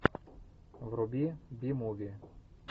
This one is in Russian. вруби би муви